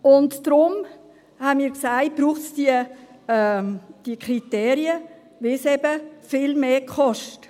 Deshalb haben wir gesagt, dass es diese Kriterien braucht, weil es eben viel mehr kostet.